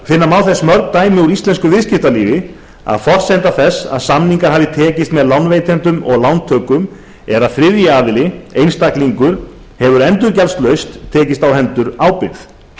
finna má þess mörg dæmi úr íslensku viðskiptalífi að forsenda þess að samningar hafi tekist með lánveitendum og lántökum er að þriðji aðili einstaklingur hefur endurgjaldslaust tekist á hendur ábyrgð